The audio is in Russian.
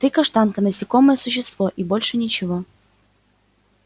ты каштанка насекомое существо и больше ничего